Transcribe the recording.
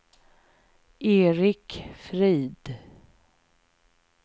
Erik Frid